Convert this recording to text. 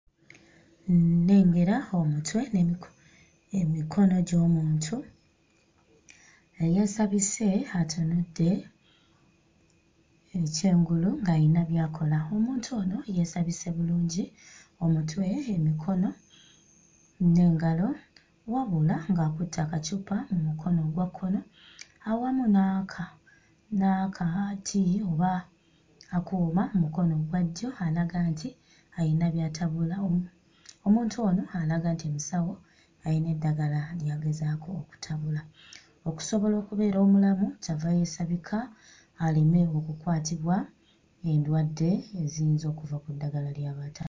Nnengera omutwe n'emiko emikono gy'omuntu eyeesabise atunudde ekyengulu ng'ayina by'akola. Omuntu ono yeesabise bulungi omutwe, emikono n'engalo wabula ng'akutte akacupa mu mukono ogwa kkono awamu n'aka n'akati oba akuuma mu mukono ogwa ddyo alaga nti ayina by'atabula. Omuntu ono alaga nti musawo, ayina eddagala ly'agezaako okutabula. Okusobola okubeera omulamu ky'ava yeesabika aleme okukwatibwa endwadde eziyinza okuva ku ddagala ly'aba ata....